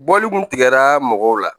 Bɔli kun tigɛra mɔgɔw la